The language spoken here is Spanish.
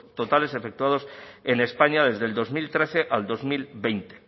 totales efectuados en españa desde el dos mil trece al dos mil veinte